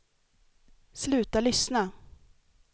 sluta lyssna